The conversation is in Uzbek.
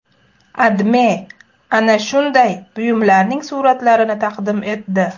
AdMe ana shunday buyumlarning suratlarini taqdim etdi .